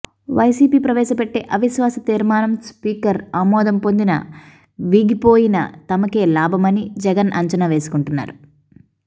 YCP ప్రవేశపెట్టే అవిశ్వాసతీర్మానం speaker ఆమోదం పొందినా వీగిపోయినా తమకే లాభమని జగన్ అంచనా వేసుకుంటున్నారు